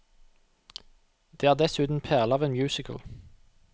Det er dessuten en perle av en musical.